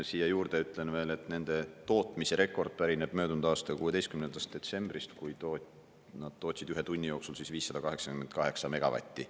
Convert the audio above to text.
Siia juurde ütlen veel, et nende tootmise rekord pärineb möödunud aasta 16. detsembrist, kui nad tootsid ühe tunni jooksul 588 megavatti.